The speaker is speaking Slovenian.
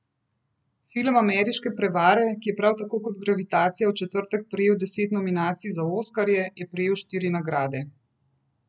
Film Ameriške prevare, ki je prav tako kot Gravitacija v četrtek prejel deset nominacij za oskarje, je prejel štiri nagrade.